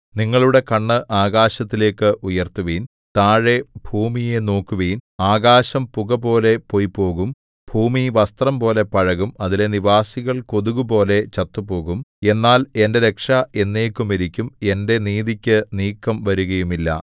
നിങ്ങളുടെ കണ്ണ് ആകാശത്തിലേക്ക് ഉയർത്തുവിൻ താഴെ ഭൂമിയെ നോക്കുവിൻ ആകാശം പുകപോലെ പൊയ്പോകും ഭൂമി വസ്ത്രംപോലെ പഴകും അതിലെ നിവാസികൾ കൊതുകുപോലെ ചത്തുപോകും എന്നാൽ എന്റെ രക്ഷ എന്നേക്കും ഇരിക്കും എന്റെ നീതിക്കു നീക്കം വരുകയുമില്ല